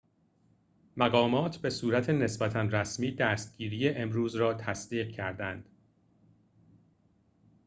مقامات به صورت نسبتا رسمی دستگیری امروز را تصدیق کردند